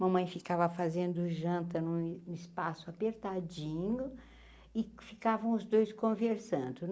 Mamãe ficava fazendo janta num espaço apertadinho, e ficavam os dois conversando.